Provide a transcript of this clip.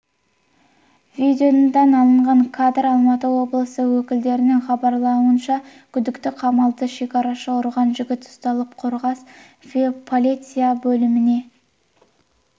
видеодан алынған кадр алматы облысы өкілдерінің хабарлауынша күдікті қамалды шекарашыны ұрған жігіт ұсталып қорғас полиция бөліміне